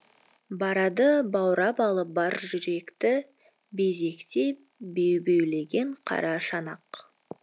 барады баурап алып бар жүректі безектеп бебеулеген қара шанақ